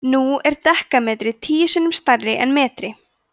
nú er dekametri tíu sinnum stærri en metri